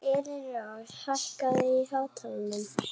Elínrós, hækkaðu í hátalaranum.